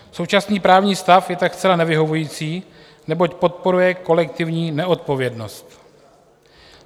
Současný právní stav je tak zcela nevyhovující, neboť podporuje kolektivní neodpovědnost.